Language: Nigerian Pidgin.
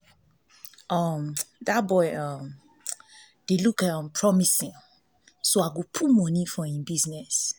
um dat um boy dey um look promising so i go put money for im business